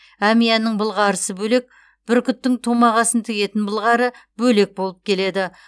әмиянның былғарысы бөлек бүркіттің томағасын тігетін былғары бөлек болып келеді